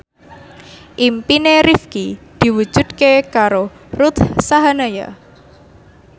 impine Rifqi diwujudke karo Ruth Sahanaya